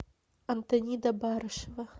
антонида барышева